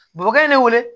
Duguden ne wele